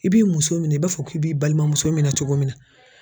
I b'i muso minɛn i b'a fɔ k'i b'i balimamuso minɛn cogo min na.